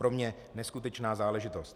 Pro mě neskutečná záležitost.